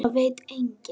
Það veit enginn